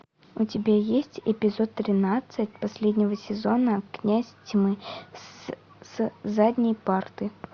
у тебя есть эпизод тринадцать последнего сезона князь тьмы с задней парты